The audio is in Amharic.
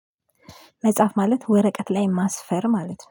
መጻፍ ማለት ወረቀት ላይ ማስፈር ማለት ነው